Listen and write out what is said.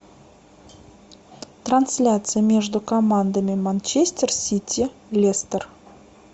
трансляция между командами манчестер сити лестер